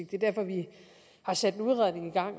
det er derfor at vi har sat